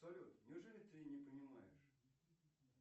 салют неужели ты не понимаешь